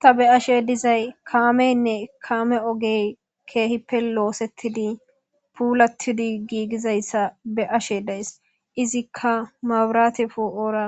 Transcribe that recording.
Ta be'ashe dizay kaameynne kaame ogey keehi pe loosettidi puulatidi giigizayssa be ashe dees izikka maburate foo'oora